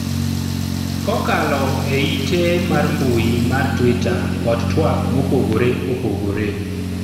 kokalo e ite mar mbui mar twitter kod twak mopogore opogore